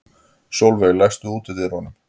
Solveig, læstu útidyrunum.